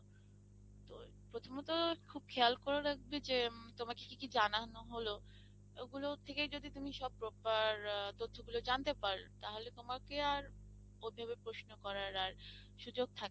তো প্রথমত খুব খেয়াল করে রাখবে যে তোমাকে কি কি জানানো হলো? ওগুলোর থেকে যদি তুমি সব proper তথ্যগুলো জানতে পার তাহলে তোমাকে আর ওভাবে প্রশ্ন করার আর সুযোগ থাকে না।